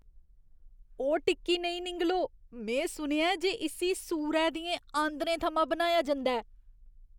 ओह् टिक्की नेईं निङलो। में सुनेआ ऐ जे इस्सी सूरै दियें आंदरें थमां बनाया जंदा ऐ।